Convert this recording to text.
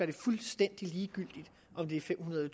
er fuldstændig ligegyldigt om det er fem hundrede